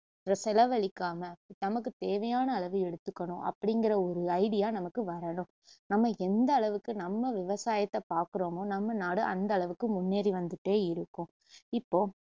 செலவளிக்காம நமக்கு தேவையான அளவு எடுத்துக்கணும் அப்படிங்குற ஒரு idea நமக்கு வரணும் நம்ம எந்த அளவுக்கு நம்ம விவசாயத்த பாக்குறோமோ நம்ம நாடு அந்த அளவுக்கு முன்னேறி வந்துட்டே இருக்கும் இப்போ